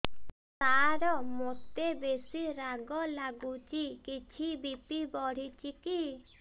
ସାର ମୋତେ ବେସି ରାଗ ଲାଗୁଚି କିଛି ବି.ପି ବଢ଼ିଚି କି